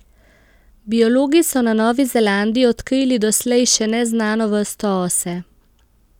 Biologi so na Novi Zelandiji odkrili doslej še neznano vrsto ose.